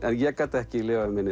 ég gat ekki lifað mig